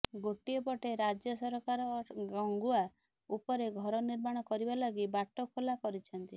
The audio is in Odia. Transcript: ଗୋଟିଏ ପଟେ ରାଜ୍ୟ ସରକାର ଗଙ୍ଗୁଆ ଉପରେ ଘର ନିର୍ମାଣ କରିବା ଲାଗି ବାଟ ଖୋଲା କରିଛନ୍ତି